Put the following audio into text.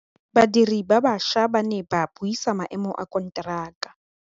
Badiri ba baša ba ne ba buisa maêmô a konteraka.